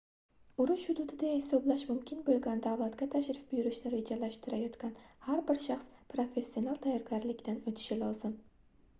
urush hududi deya hisoblash mumkin boʻlgan davlatga tashrif buyurishni rejalashtirayotgan har bir shaxs professional tayyorganlikdan oʻtishi lozim